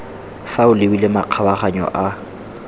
fa o lebile makgabaganyo a